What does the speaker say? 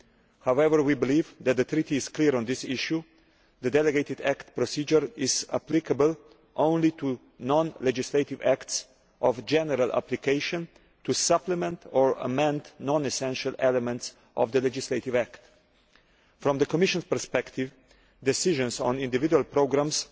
However, we believe that the Treaty is clear on this issue the delegated act procedure is applicable only to non legislative acts of general application, to supplement or amend non essential elements of the legislative act. From the Commission's perspective, decisions on individual programmes